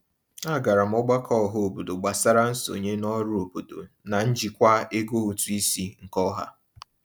A gara m ọgbakọ ọhaobodo gbasara nsonye n'ọrụ obodo na njikwa ego ụtụisi nke ọha.